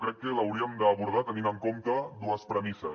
crec que l’hauríem d’abordar tenint en compte dues premisses